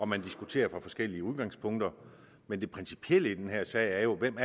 man diskuterer fra forskellige udgangspunkter men det principielle i den her sag er jo hvem